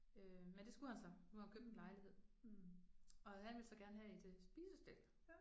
Øh men det skulle han så. Nu har han købt en lejlighed og han ville så gerne have et øh spisestel